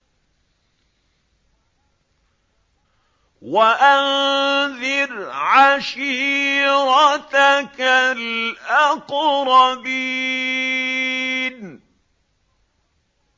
وَأَنذِرْ عَشِيرَتَكَ الْأَقْرَبِينَ